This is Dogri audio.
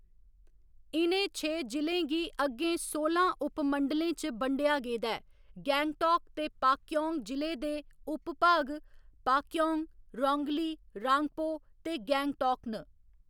इ'नें छे जि'लें गी अग्गें सोलां उपमंडलें च बंडेआ गेदा ऐ, गैंगटौक ते पाक्यौंग जि'लें दे उप भाग पाक्यौंग, रौंगली, रांगपो ते गैंगटौक न।